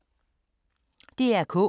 DR K